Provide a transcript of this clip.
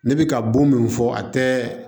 Ne bɛ ka bon min fɔ a tɛ